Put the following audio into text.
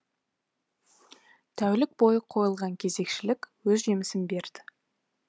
тәулік бойы қойылған кезекшілік өз жемісін берді